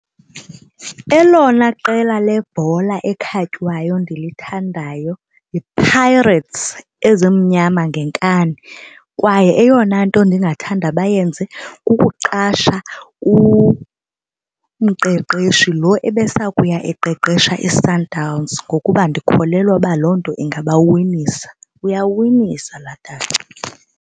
Elona qela lebhola ekhatywayo ndilithandayo yiPirates, ezimnyama ngenkani kwaye eyona nto ndingathanda bayenze kukuqasha umqeqeshi lo ebesaya kuya eqeqesha iSundowns ngokuba ndikholelwa uba loo nto ingabawinisa. Uyawinisa laa tata.